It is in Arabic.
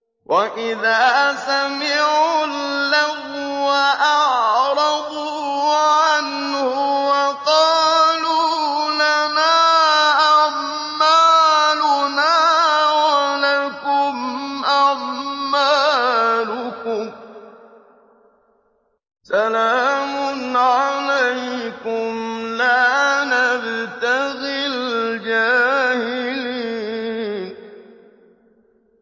وَإِذَا سَمِعُوا اللَّغْوَ أَعْرَضُوا عَنْهُ وَقَالُوا لَنَا أَعْمَالُنَا وَلَكُمْ أَعْمَالُكُمْ سَلَامٌ عَلَيْكُمْ لَا نَبْتَغِي الْجَاهِلِينَ